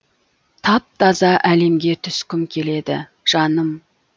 тап таза әлемге түскім келеді жаным